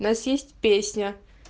нас есть песня